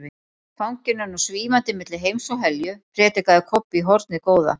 Fanginn er nú SVÍFANDI MILLI HEIMS OG HELJU, predikaði Kobbi í hornið góða.